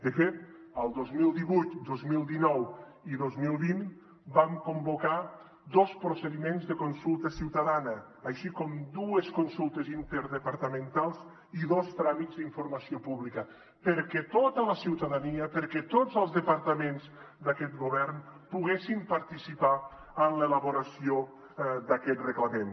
de fet dos mil divuit dos mil dinou i dos mil vint vam convocar dos procediments de consulta ciutadana així com dues consultes interdepartamentals i dos tràmits d’informació pública perquè tota la ciutadania perquè tots els departaments d’aquest govern poguessin participar en l’elaboració d’aquest reglament